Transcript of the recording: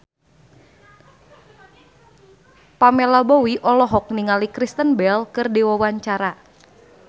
Pamela Bowie olohok ningali Kristen Bell keur diwawancara